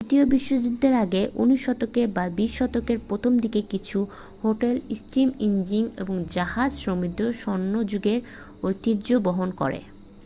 দ্বিতীয় বিশ্বযুদ্ধের আগে 19 শতকে বা 20 শতকের প্রথম দিকের কিছু হোটেল স্টীম ইঞ্জিন ও জাহাজ সমৃদ্ধ স্বর্ণযুগের ঐতিহ্য বহন করে